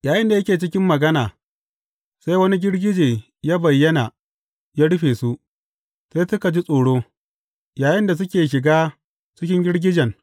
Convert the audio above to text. Yayinda yake cikin magana, sai wani girgije ya bayyana ya rufe su, sai suka ji tsoro, yayinda suke shiga cikin girgijen.